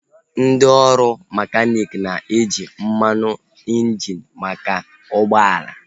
Ndị ọrụ mekaniiki na-eji mmanụ injini maka ụgbọala